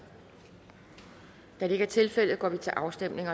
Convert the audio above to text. da det ikke er tilfældet går vi til afstemning